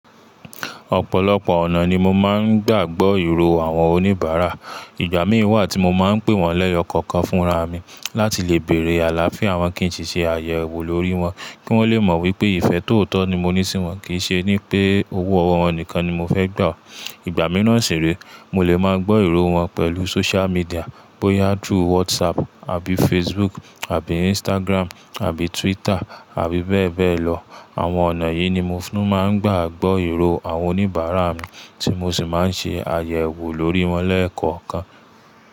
Ọ̀pọ̀lọpọ̀ ọ̀nà ni mo máa ń gbà gbọ́ ìró àwọn oníbàárà. Ìgbà mí wà tí mo máa ń pè wọ́n lẹ́yọ̀ kọ̀ọ̀kan fúnra mi láti lè bèrè àlàáfíà wọn kí n sì ṣe àyẹ̀wò lórí wọn kí wọ́n lè mọ̀ wípé ìfẹ́ tóọ̀tọ̀ ni mo ní sí wọn kì í ṣe ní pé owó ọwọ́ wọn nìkan ni mo fẹ́ gbà ọ́. Ìgbà mìíràn sì rè, mo lè máa gbọ́ ìró wọn pẹ̀lú social media bóyá through WhatsApp àbí Facebook àbí Instagram àbí Twitter àbí bẹ́ẹ̀ bẹ́ẹ̀ lọ. Àwọn ọ̀nà yìí ni mo fún máa ń gbà gbọ́ ìró àwọn oníbàárà mi tí mo sì máa ń ṣe àyẹ̀wò lórí wọn lẹ́ẹ̀kọ̀ọ̀kan.